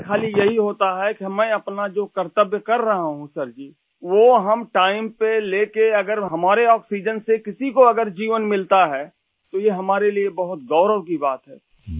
ہمیں صرف یہ فکر ہوتی ہے کہ ہم جو اپنا کام کر رہے ہیں ، وہ ٹائم پر لے کر اگر اپنی آکسیجن سے کسی کو زندگی ملتی ہے ، تو یہ ہمارے لئے بہت فخر کی بات ہے